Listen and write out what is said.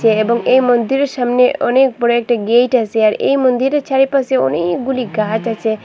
এ এবং এই মন্দিরের সামনে অনেক বড় একটি গেইট আসে আর এই মন্দিরের চারিপাশে অনেকগুলি গাছ আচে।